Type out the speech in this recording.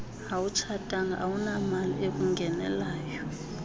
awutshatanga awunamali ekungenelayo